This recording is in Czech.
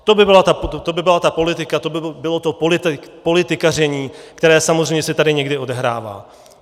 To by byla ta politika, to by bylo to politikaření, které samozřejmě se tady někdy odehrává.